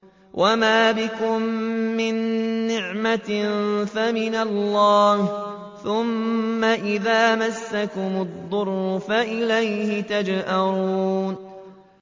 وَمَا بِكُم مِّن نِّعْمَةٍ فَمِنَ اللَّهِ ۖ ثُمَّ إِذَا مَسَّكُمُ الضُّرُّ فَإِلَيْهِ تَجْأَرُونَ